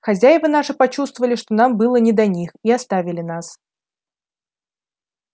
хозяева наши почувствовали что нам было не до них и оставили нас